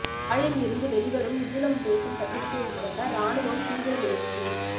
யாழில் இருந்து வெளிவரும் இது நம்தேசம் பத்திரிகையை முடக்க இராணுவம் தீவிர முயற்சி